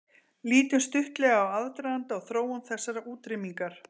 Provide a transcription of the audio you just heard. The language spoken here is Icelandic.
Lítum stuttlega á aðdraganda og þróun þessarar útrýmingar.